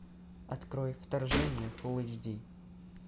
открой вторжение фулл эйч ди